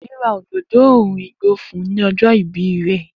Deji ra òdòdó òòrùn igbó fún un ní ọjọ́ ìbí rẹ̀.